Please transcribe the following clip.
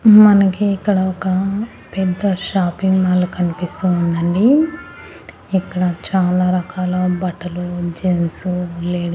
మ్ మనకి ఇక్కడ ఒక పెద్ద షాపింగ్ మాల్ కనిపిస్తూ ఉందండి ఇక్కడ చాలా రకాల బట్టలు జెంట్స్ లేడీస్ .